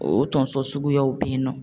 O tonso suguyaw be yen nɔ.